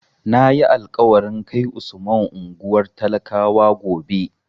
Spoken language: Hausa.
Na yi alƙawarin kai Usman unguwar talakawa gobe.